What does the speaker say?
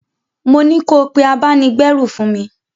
Mo ní ko pé abáni-gbérù fún mi!